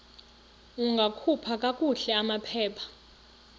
ungakhupha kakuhle amaphepha